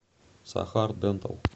сахар дэнтал